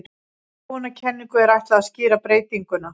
Þróunarkenningu er ætlað að skýra breytinguna.